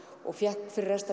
og fékk fyrir rest